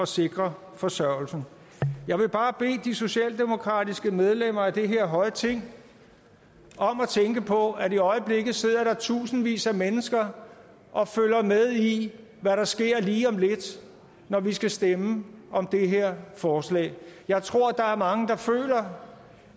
sikre forsørgelsen jeg vil bare bede de socialdemokratiske medlemmer af det her høje ting om at tænke på at der i øjeblikket sidder tusindvis af mennesker og følger med i hvad der sker lige om lidt når vi skal stemme om det her forslag jeg tror der er mange der føler